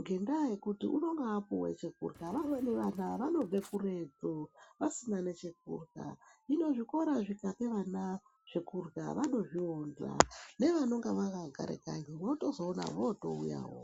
ngendaa yekuti unenge apuwe chekurya vamweni vana vanobve kuretu vasine nechekurya hino zvikora zvikape vana zvekurya vanozvionza nevanonga vakagare kanyi votozoona votouyawo.